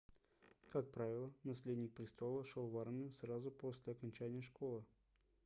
как правило наследник престола шел в армию сразу после окончания школы